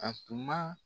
A tun ma